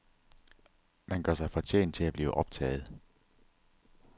Man gør sig fortjent til at blive optaget.